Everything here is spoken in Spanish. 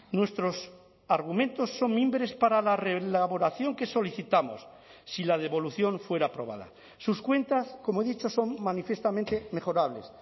nuestros argumentos son mimbres para la reelaboración que solicitamos si la devolución fuera aprobada sus cuentas como he dicho son manifiestamente mejorables